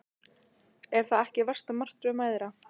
Er það ekki versta martröð mæðra?